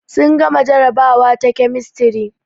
Sun gama jarabawa ta kemistri